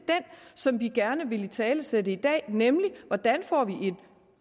som vi gerne ville italesætte i dag nemlig hvordan får vi en